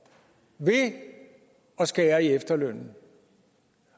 ved at skære i efterlønnen